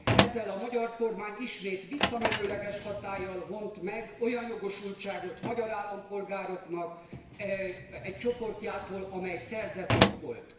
Ezzel a magyar kormány ismét visszamenőleges hatállyal vont meg olyan jogosultságot magyar állampolgároknak egy csoportjától, amely szerzett jog volt.